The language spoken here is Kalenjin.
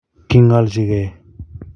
Kingolchikei